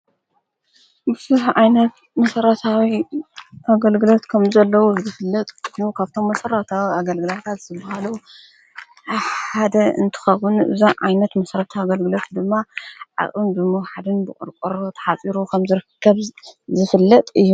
ብዙሕ ዓይነት መሠረታዊ ኣገልግሎት ከም ዘለዉ ዝፍለጥ ኮይኑ ካብቶም መሠረታዊ ኣገልግሎታት ዝበሃሉ ሓደ እንትኸውን ብዙሕ ዓይነት መሠረተ ኣገልግሎት ድማ ዓቕን ብምውሓድን ብቕርቈሮ ተሓጺሩ ኸም ዘርክብ ዝፍለጥ እዩ